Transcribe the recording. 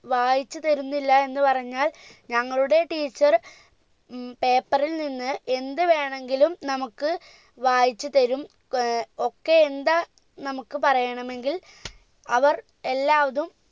വായിച്ചു തരുന്നില്ല എന്ന് പറഞ്ഞാൽ നിങ്ങളുടെ teacher ഉം paper ൽ നിന്ന് എന്ത് വേണെകിലും നമുക്ക് വായിച്ചു തരും ഏർ ഒക്കെ എന്താ നമുക്ക് പറയണമെങ്കിൽ അവർ എല്ലാവതും